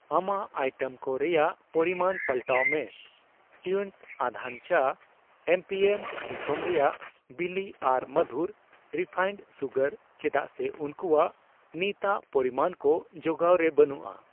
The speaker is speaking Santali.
ᱟᱢᱟᱜ ᱟᱭᱴᱮᱢ ᱠᱚ ᱨᱮᱭᱟᱜ ᱯᱚᱨᱤᱢᱟᱱ ᱯᱟᱞᱴᱟᱣ ᱢᱮ ᱴᱣᱤᱱᱤᱝᱥ ᱟᱫᱷᱟᱱ ᱪᱟ, ᱮᱢᱯᱤᱮᱢ ᱫᱤᱥᱚᱢ ᱨᱮᱭᱟᱜ ᱵᱤᱞᱤ ᱟᱨ ᱢᱟᱫᱷᱩᱨ ᱨᱮᱯᱷᱟᱭᱤᱱᱰ ᱥᱩᱜᱟᱨ ᱪᱮᱫᱟᱜ ᱥᱮ ᱩᱝᱠᱩᱣᱟᱜ ᱱᱤᱛᱟᱜ ᱯᱚᱨᱤᱢᱟᱱ ᱠᱚ ᱡᱚᱜᱟᱣ ᱨᱮ ᱵᱟᱹᱱᱩᱜᱼᱟ ᱾